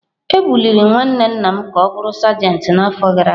Ebuliri nwanne nna m ka ọ bụrụ sajentị n’afọ gara aga.